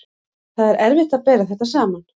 Það er erfitt að bera þetta saman.